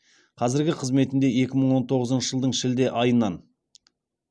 қазіргі қызметінде екі мың он тоғызыншы жылдың шілде айынан